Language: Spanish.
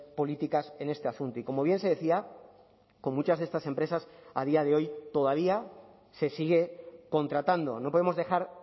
políticas en este asunto y como bien se decía con muchas de estas empresas a día de hoy todavía se sigue contratando no podemos dejar